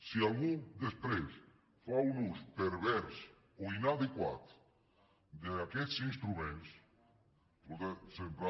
si algú després fa un ús pervers o inadequat d’aquests instruments sempre